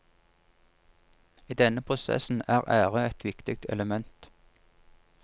I denne prosessen er ære et viktig element.